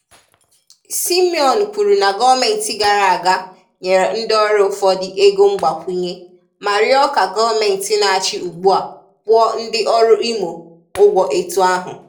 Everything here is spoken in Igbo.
Simeon kwuru na gọọmenti gara aga nyere ndị ọrụ ụfọdụ ego mgbakwụnye ma rịọ ka gọọmenti na-achị ugbua kwụọ ndị ọrụ Imo ụgwọ etu ahụ.